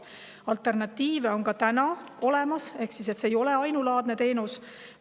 Alternatiivid on ka täna olemas, see ei ole ainulaadne teenus.